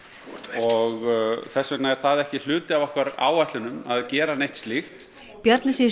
og þess vegna er það ekki hluti af okkar áætlunum að gera neitt slíkt Bjarni segir